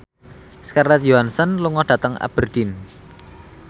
Scarlett Johansson lunga dhateng Aberdeen